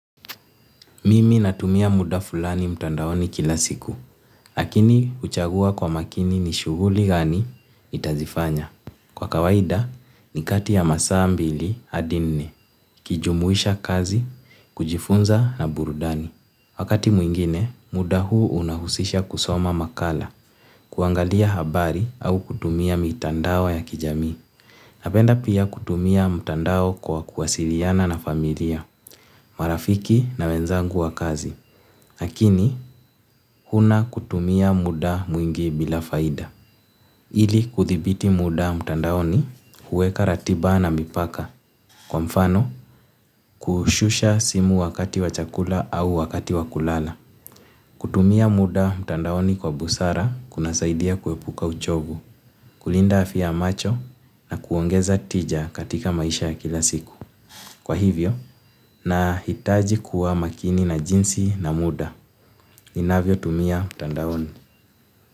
Mimi natumia muda fulani mtandaoni kila siku, lakini huchagua kwa makini ni shughuli gani itazifanya. Kwa kawaida, nikati ya masaa mbili adi nne, kijumuisha kazi, kujifunza na burudani. Wakati mwingine, muda huu unahusisha kusoma makala, kuangalia habari au kutumia mitandao ya kijamii. Napenda pia kutumia mtandao kwa kuwasiliana na familia, marafiki na wenzangu wa kazi. Lakini, huna kutumia muda mwingi bila faida. Ili kuthibiti muda mtandaoni huweka ratiba na mipaka. Kwa mfano, kushusha simu wakati wa chakula au wakati wa kulala. Kutumia muda mtandaoni kwa busara, kuna saidia kuepuka uchovu, kulinda afya macho na kuongeza tija katika maisha ya kila siku. Kwa hivyo, na hitaji kuwa makini na jinsi na muda, inavyo tumia mtandaoni.